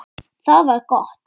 Það var gott